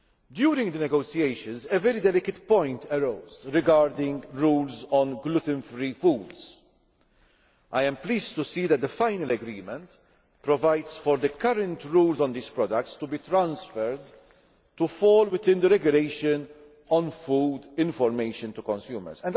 During the negotiations, a very delicate point arose regarding rules on gluten free foods. I am pleased to see that the final agreement provides for the current rules on these products to be transferred and to fall within the Regulation on Food Information to Consumers.